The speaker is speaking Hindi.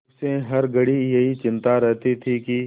उसे हर घड़ी यही चिंता रहती थी कि